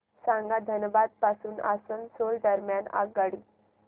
सांगा धनबाद पासून आसनसोल दरम्यान आगगाडी